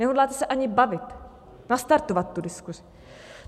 Nehodláte se ani bavit, nastartovat tu diskuzi.